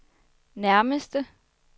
nærmeste